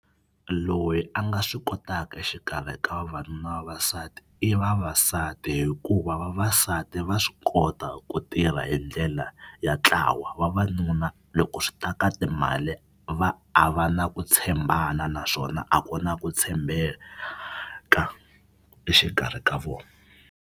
Loyi a nga swi kotaka exikarhi ka vavanuna na vavasati i vavasati hikuva vavasati va swi kota ku tirha hi ndlela ya ntlawa vavanuna loko swi ta ka timali va a va na ku tshembana naswona a ku na ku tshembeka exikarhi ka vona.